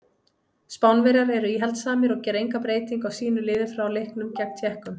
Spánverjar eru íhaldssamir og gera enga breytingu á sínu liði frá leiknum gegn Tékkum.